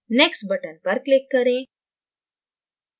next button पर click करें